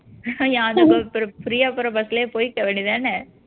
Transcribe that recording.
free ஆ போற bus லயே போயிக்க வேண்டியது தானே